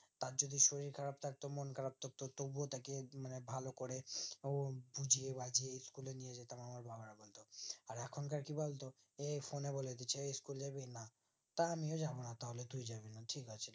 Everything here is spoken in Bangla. তার যদি শরীর খারাপ থাকতো মন খারাপ থাকতো তবুও তাকে মানে ভালোকরে বুজিয়ে-বাঝিয়ে school এ নিয়েযেতাম আমার বাবার মতো আর এখনকার কি বলতো এই ফোন বলেদিচ্ছে এই school জাবি না তা আমিও যাবোনা তাহলে তুই যাবিনা ঠিক আছে